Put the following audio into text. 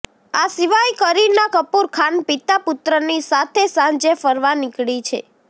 આ સીવાય કરીના કપૂર ખાન પિતા પુત્રની સાથે સાંજે ફરવા નીકળી છે